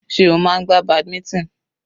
Sé o máa ń gbá badminton?